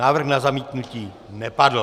Návrh na zamítnutí nepadl.